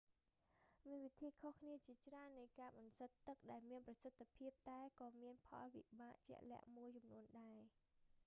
មានវិធីខុសគ្នាជាច្រើននៃការបន្សុទ្ធទឹក ដែលមានប្រសិទ្ធភាពតែក៏មានផលវិបាកជាក់លាក់មួយចំនួនដែរ